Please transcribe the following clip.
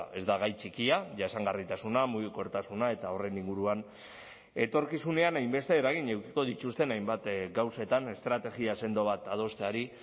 ez da gai txikia jasangarritasuna mugikortasuna eta horren inguruan etorkizunean hainbeste eragin edukiko dituzten hainbat gauzetan estrategia sendo bat adosteari